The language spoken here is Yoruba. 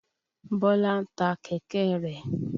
Bọ́lá ta kẹ̀kẹ́ rẹ̀.